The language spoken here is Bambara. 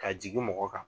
Ka jigin mɔgɔ kan